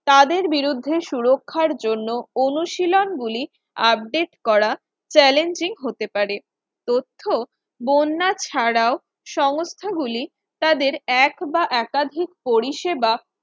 তাদের বিরুদ্ধে সুরক্ষার জন্য অনুশীলন গুলি update করা challenging হতে পারে তথ্য বন্যা ছাড়াও সংস্থাগুলি তাদের এক বা একাধিক পরিষেবা